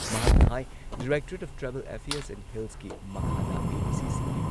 ꯃꯍꯥꯛꯅ ꯍꯥꯏ directorate of tribal affairs and ꯍꯤꯜꯁꯀꯤ ꯃꯈꯥꯗ ꯑꯦ.ꯗꯤ.ꯁꯤꯁꯤꯡꯒꯤ